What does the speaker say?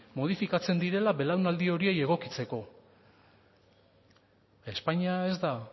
modifikatzen direla belaunaldi horiei egokitzeko espainia ez da